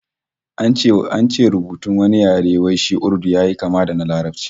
An ce rubutun wani yare wai shi Urdu yayi kama da na Larabci